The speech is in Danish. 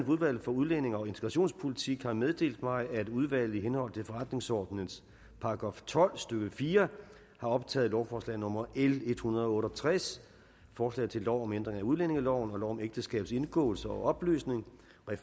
udvalget for udlændinge og integrationspolitik har meddelt mig at udvalget i henhold til forretningsordenens § tolv stykke fire har optaget lovforslag nummer l en hundrede og otte og tres forslag til lov om ændring af udlændingeloven og lov om ægteskabs indgåelse og opløsning